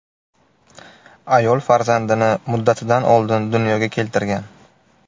Ayol farzandini muddatidan oldin dunyoga keltirgan.